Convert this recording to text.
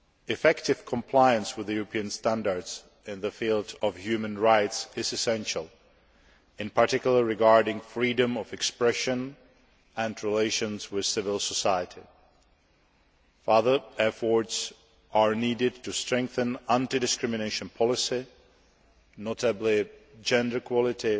Effective compliance with European standards in the field of human rights is essential, in particular, regarding freedom of expression and relations with civil society. Further efforts are needed to strengthen anti discrimination policy, notably, gender equality